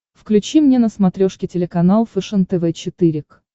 включи мне на смотрешке телеканал фэшен тв четыре к